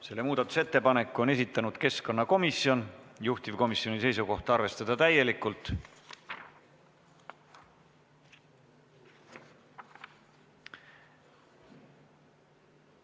Selle muudatusettepaneku on esitanud keskkonnakomisjon, juhtivkomisjoni seisukoht: arvestada täielikult.